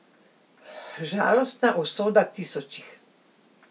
Žalostna usoda tisočih.